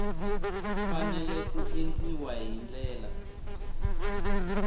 fanele ku endliwa hi ndlela